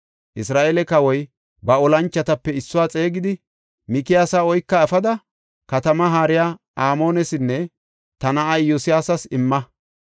Isra7eele kawoy ba olanchotape issuwa xeegidi, “Mikiyaasa oyka efada katamaa haariya Amoonesinne ta na7aa Iyo7aasas imma.